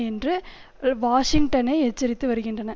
என்று வாஷிங்டனை எச்சரித்து வருகின்றன